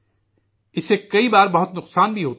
اس سے کئی بار بہت نقصان بھی ہوتا ہے